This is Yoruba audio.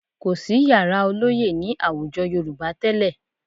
Kò sí yàrá ọlọ́yẹ́ ní àwùjọ Yorùbá tẹ́lẹ̀